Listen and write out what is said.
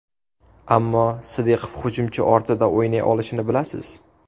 Ammo Sidiqov hujumchi ortida o‘ynay olishini bilasiz.